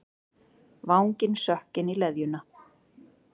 Vanginn sökk inn í leðjuna.